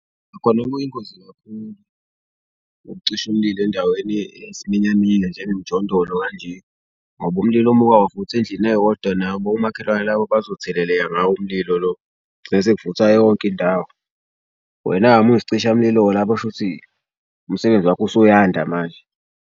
Nakhona kuyingozi kakhulu ukucisha umlilo endaweni eyisiminyaminya nje enemijondolo kanje ngoba umlilo uma uke wavutha endlini eyodwa nabo omakhelwane labo bazotheleleka ngawo umlilo lo. Bese kuvutha yonke indawo. Wena-ke uma uyisicishamlilo-ke lapho shuthi umsebenzi wakho usuyanda manje.